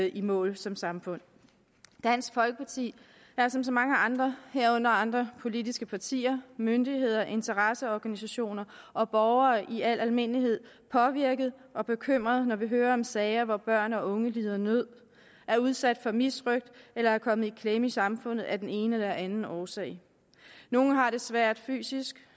i mål som samfund dansk folkeparti er som så mange andre herunder andre politiske partier myndigheder interesseorganisationer og borgere i al almindelighed påvirket og bekymret når vi hører om sager hvor børn og unge lider nød er udsat for misrøgt eller er kommet i klemme i samfundet af den ene eller den anden årsag nogle har det svært fysisk